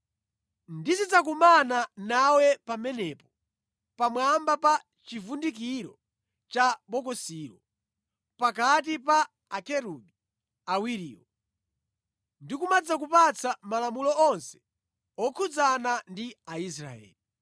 Ndizidzakumana nawe pamenepo, pamwamba pa chivundikiro cha bokosilo, pakati pa Akerubi awiriwo, ndikumadzakupatsa malamulo onse okhudzana ndi Aisraeli.